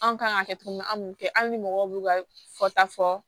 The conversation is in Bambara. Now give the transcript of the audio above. Anw kan ka kɛ cogo min na an kun tɛ hali ni mɔgɔw b'u ka fɔta fɔ